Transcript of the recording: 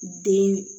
Den